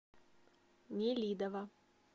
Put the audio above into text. нелидово